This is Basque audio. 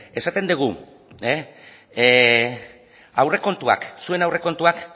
esaten dugu aurrekontuak zuen aurrekontuak